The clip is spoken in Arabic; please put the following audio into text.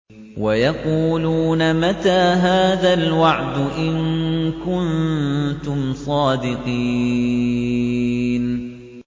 وَيَقُولُونَ مَتَىٰ هَٰذَا الْوَعْدُ إِن كُنتُمْ صَادِقِينَ